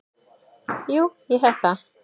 Jú, ég hef það.